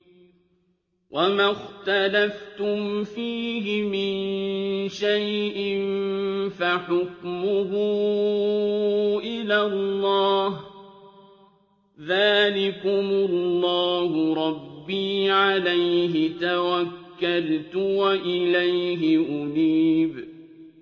وَمَا اخْتَلَفْتُمْ فِيهِ مِن شَيْءٍ فَحُكْمُهُ إِلَى اللَّهِ ۚ ذَٰلِكُمُ اللَّهُ رَبِّي عَلَيْهِ تَوَكَّلْتُ وَإِلَيْهِ أُنِيبُ